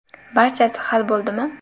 Barchasi hal bo‘ldimi?